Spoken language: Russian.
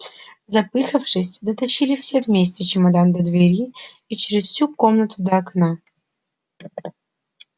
запыхавшись дотащили все вместе чемодан до двери и через всю комнату до окна